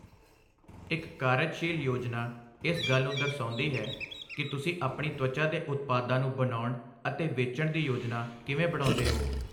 ਇੱਕ ਕਾਰਜਸ਼ੀਲ ਯੋਜਨਾ ਇਸ ਗੱਲ ਨੂੰ ਦਰਸਾਉਂਦੀ ਹੈ, ਕਿ ਤੁਸੀਂ ਆਪਣੀ ਤਵਚਾ ਦੇ ਉਤਪਾਦਾਂ ਨੂੰ ਬਣਾਉਣ ਅਤੇ ਵੇਚਣ ਦੀ ਯੋਜਨਾ ਕਿਵੇਂ ਬਣਾਉਂਦੇ ਹੋ।